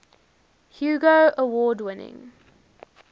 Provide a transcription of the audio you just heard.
hugo award winning